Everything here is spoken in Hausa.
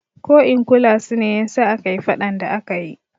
Ko in kulan su ne yasa akayi faɗan da akayi